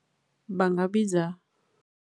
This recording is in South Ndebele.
Bangabiza.